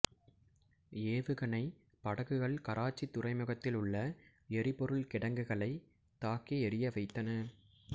ஏவுகணை படகுகள் கராச்சி துறைமுகத்தில் உள்ள எரிபொருள் கிடங்குகளை தாக்கி எரிய வைத்தன